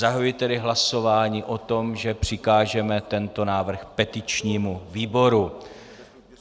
Zahajuji tedy hlasování o tom, že přikážeme tento návrh petičnímu výboru.